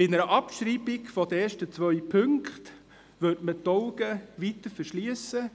Mit der Abschreibung der ersten beiden Punkte würde man die Augen weiterhin verschliessen